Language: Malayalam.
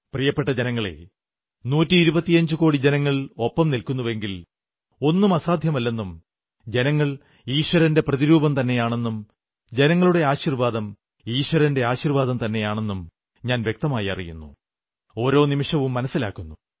പ്രിയപ്പെട്ട ജനങ്ങളേ നൂറ്റി ഇരുപത്തിയഞ്ചുകോടി ജനങ്ങൾ ഒപ്പം നില്ക്കുന്നുവെങ്കിൽ ഒന്നും അസാധ്യമല്ലെന്നും ജനങ്ങൾ ഈശ്വരന്റെ പ്രതിരൂപം തന്നെയാണെന്നും ജനങ്ങളുടെ ആശീർവ്വാദം ഈശ്വരന്റെ ആശീർവ്വാദം തന്നെയാണെന്നും ഞാൻ വ്യക്തമായി അറിയുന്നു ഒരോ നിമിഷവും മനസ്സിലാക്കുന്നു